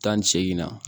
Tan ni segin na